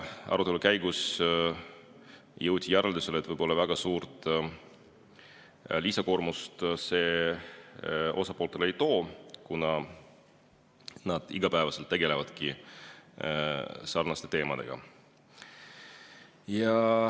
Arutelu käigus jõuti järeldusele, et võib-olla väga suurt lisakoormust see osapooltele ei too, kuna nad igapäevaselt tegelevadki sarnaste teemadega.